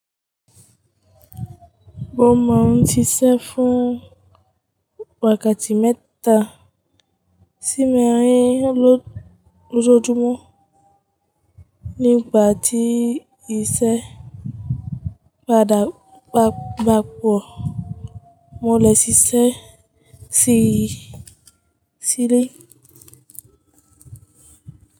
Mo maa n sisẹ́ fun wákàtí mẹ́ta sí mẹ́rin lójoojúmọ́ nígbà tí ìṣẹ̀ báda bakuo mole sí ilé.